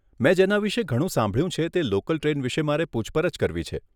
મેં જેના વિષે ઘણું સાંભળ્યું છે તે લોકલ ટ્રેન વિષે મારે પુછપરછ કરવી છે.